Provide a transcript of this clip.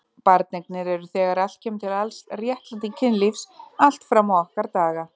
Barneignir eru þegar allt kemur til alls réttlæting kynlífs allt fram á okkar daga.